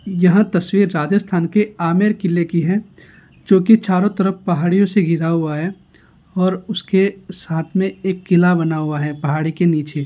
यहां तस्वीर राजस्थान के आमेर किले की है जो की चारो तरफ पहाड़ियों से घिरा हुआ है और उसके साथ में एक किला बना हुआ है पहाड़ी के नीचे।